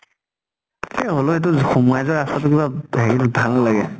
এ হলেও এইটো সোমাই যোৱা ৰাস্তা টো কিবা ভে ভাল নালাগে ।